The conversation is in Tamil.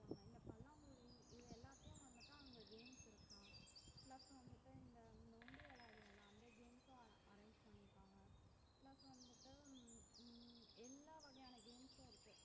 இந்த பல்லாங்குழி இது எல்லாத்தையும் வந்துட்டு அங்க games இருக்கும் plus வந்துட்டு இந்த நொண்டி விளையாடுவோம்ல அந்த games ம் arrange பண்ணிருக்காங்க plus வந்துட்டு ஹம் ஹம் எல்லாம் வகையான games உம் இருக்கும்